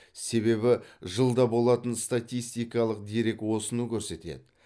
себебі жылда болатын статистикалық дерек осыны көрсетеді